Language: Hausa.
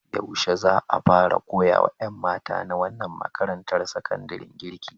Yaushe za a fara koya wa ƴan mata na wannan makarantar sakandaren girki?